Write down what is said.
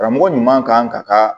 Karamɔgɔ ɲuman kan ka ka